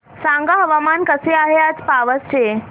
सांगा हवामान कसे आहे आज पावस चे